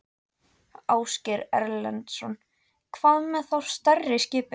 Ásgeir Erlendsson: Hvað með þá stærri skipin?